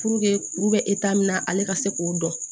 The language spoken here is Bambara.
kuru bɛ min na ale ka se k'o dɔn